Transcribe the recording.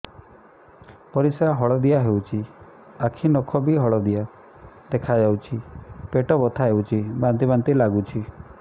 ପରିସ୍ରା ହଳଦିଆ ହେଉଛି ଆଖି ନଖ ବି ହଳଦିଆ ଦେଖାଯାଉଛି ପେଟ ବଥା ହେଉଛି ବାନ୍ତି ବାନ୍ତି ଲାଗୁଛି